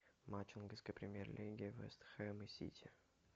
матч английской премьер лиги вест хэм и сити